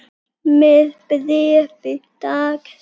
Með bréfi dags.